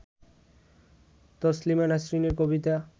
তসলিমা নাসরিনের কবিতা